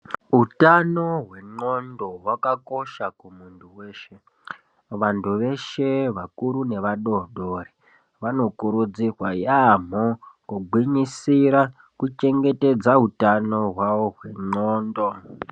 Utano hwendxondo hwakakosha kumuntu weshe. Vantu veshe vakuru nevadodori vanokurudzirwa yaampho kugwinyisira kuchengetedza utano hwavo hwendxondo.